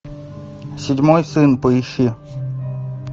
седьмой сын поищи